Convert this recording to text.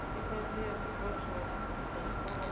ifhasi ya zwipotso zwa tshikoloni